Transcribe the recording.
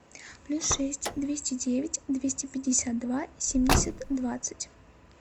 плюс шесть двести девять двести пятьдесят два семьдесят двадцать